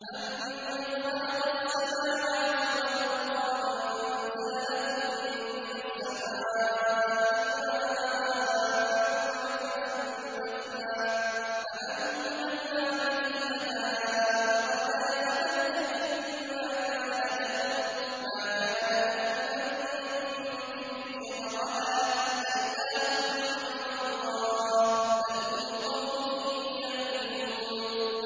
أَمَّنْ خَلَقَ السَّمَاوَاتِ وَالْأَرْضَ وَأَنزَلَ لَكُم مِّنَ السَّمَاءِ مَاءً فَأَنبَتْنَا بِهِ حَدَائِقَ ذَاتَ بَهْجَةٍ مَّا كَانَ لَكُمْ أَن تُنبِتُوا شَجَرَهَا ۗ أَإِلَٰهٌ مَّعَ اللَّهِ ۚ بَلْ هُمْ قَوْمٌ يَعْدِلُونَ